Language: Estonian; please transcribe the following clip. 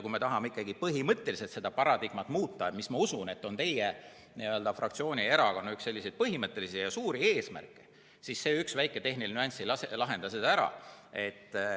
Kui me tahame ikkagi põhimõtteliselt seda paradigmat muuta, mis, ma usun, on teie fraktsiooni ja erakonna üks põhimõttelisi ja suuri eesmärke, siis see üks väike tehniline nüanss ei lahenda seda ära.